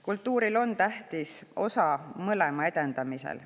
Kultuuril on tähtis osa mõlema edendamisel.